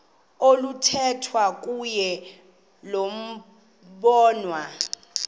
oluthethwa kuyo lobonwa